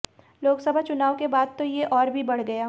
लोकसभा चुनाव के बाद तो ये और भी बढ़ गया